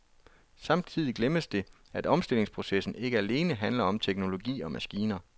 Samtidig glemmes det, at omstillingsprocessen ikke alene handler om teknologi og maskiner.